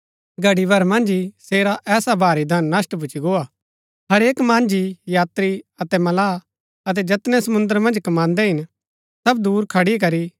घड़ी भर मन्ज ही सेरा ऐसा भारी धन नष्‍ट भूच्ची गोआ हरेक मांझी यात्री अतै मल्लाह अतै जैतनै समुंद्र मन्ज कमान्दै हिन सब दूर खड़ी करी